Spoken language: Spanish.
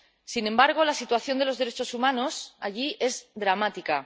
Sin embargo, la situación de los derechos humanos allí es dramática.